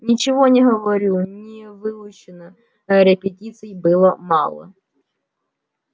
ничего не говорю не выучено репетиций было мало